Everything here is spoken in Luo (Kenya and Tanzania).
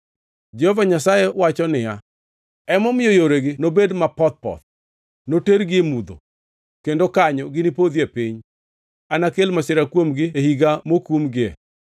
Jehova Nyasaye wacho niya, “Emomiyo yoregi nobed mapoth poth; notergi e mudho kendo kanyo ginipodhie piny. Anakel masira kuomgi e higa mokumgie.